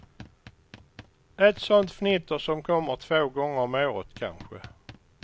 Ett sånt fnitter som kommer två gånger om året, kanske.